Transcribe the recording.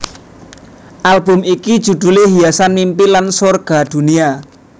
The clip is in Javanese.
Album iki judhulé Hiasan Mimpi lan Sorga Dunia